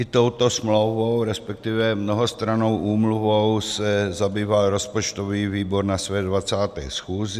I touto smlouvou, respektive mnohostrannou úmluvou, se zabýval rozpočtový výbor na své 20. schůzi.